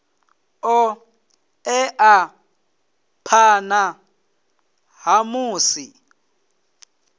ṱo ḓea phanḓa ha musi